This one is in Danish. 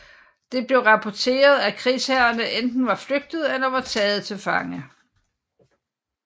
Det blev rapporteret at krigsherrerne enten var flygtet eller var taget til fange